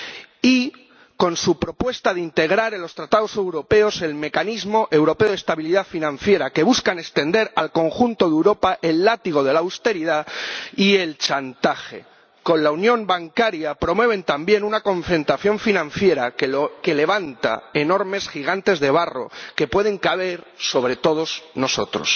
Y con su propuesta de integrar en los Tratados europeos el Mecanismo Europeo de Estabilidad buscan extender al conjunto de Europa el látigo de la austeridad y el chantaje. Con la unión bancaria, promueven también una concentración financiera que levanta enormes gigantes de barro que pueden caer sobre todos nosotros.